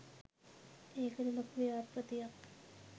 ඒකට ලොකු ව්‍යාපෘතියක්